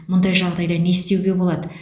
мұндай жағдайда не істеуге болады